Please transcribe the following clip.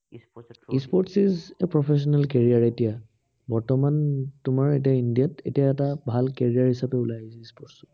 e-sports is a professional career এতিয়া। বৰ্তমান তোমাৰ এতিয়া ইন্দিয়াত এতিয়া এটা ভাল career হিচাপে ওলাই গল e-sports